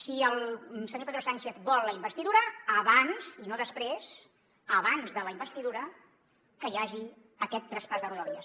si el senyor pedro sánchez vol la investidura abans i no després abans de la investidura que hi hagi aquest traspàs de rodalies